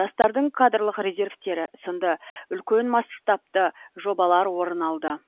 жастардың кадрлық резервтері сынды үлкен масштабты жобалар орын алды